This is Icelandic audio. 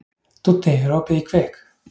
Dúddi, er opið í Kvikk?